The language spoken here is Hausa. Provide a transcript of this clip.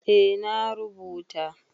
eh na rubuta